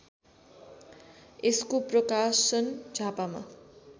यसको प्रकाशन झापामा